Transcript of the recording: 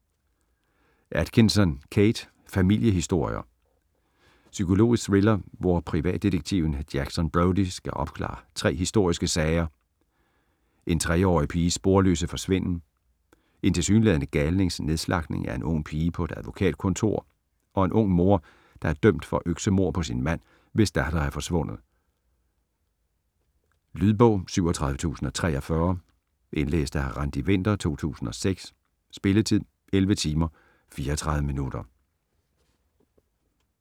Atkinson, Kate: Familiehistorier Psykologisk thriller, hvor privatdetektiven Jackson Brodie skal opklare tre historiske sager: en 3 årig piges sporløse forsvinden, en tilsyneladende galnings nedslagtning af en ung pige på et advokatkontor og en ung mor, der er dømt for øksemord på sin mand, hvis datter er forsvundet. Lydbog 37043 Indlæst af Randi Winther, 2006. Spilletid: 11 timer, 34 minutter.